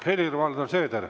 Helir-Valdor Seeder.